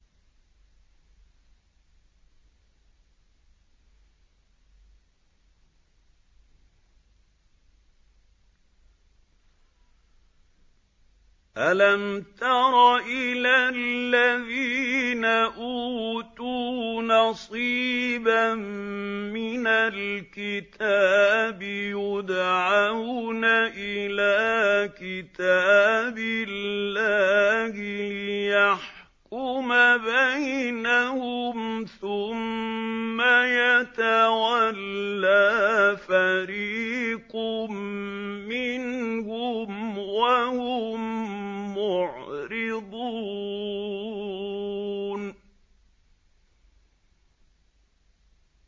أَلَمْ تَرَ إِلَى الَّذِينَ أُوتُوا نَصِيبًا مِّنَ الْكِتَابِ يُدْعَوْنَ إِلَىٰ كِتَابِ اللَّهِ لِيَحْكُمَ بَيْنَهُمْ ثُمَّ يَتَوَلَّىٰ فَرِيقٌ مِّنْهُمْ وَهُم مُّعْرِضُونَ